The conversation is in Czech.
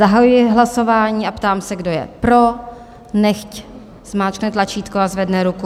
Zahajuji hlasování a ptám se, kdo je pro, nechť zmáčkne tlačítko a zvedne ruku.